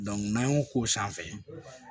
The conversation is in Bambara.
n'an y'o k'o sanfɛ